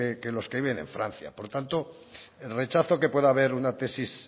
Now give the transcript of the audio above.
que los que viven en francia por tanto el rechazo que pueda haber a una tesis